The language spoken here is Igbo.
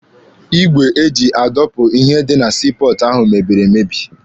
Igwe eji adọpụ ihe dị na sii pọọtụ ahụ mebiri emebi.